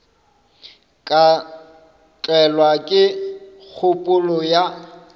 ka tlelwa ke kgopolo ya